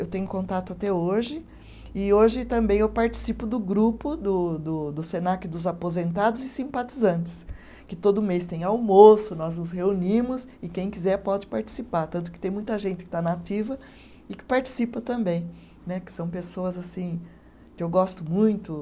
Eu tenho contato até hoje e hoje também eu participo do grupo do do do Senac dos Aposentados e Simpatizantes, que todo mês tem almoço, nós nos reunimos e quem quiser pode participar, tanto que tem muita gente que está na ativa e que participa também né, que são pessoas que eu gosto muito.